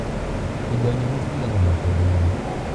Indo nyũmũ ciigagwo makũmbĩinĩ.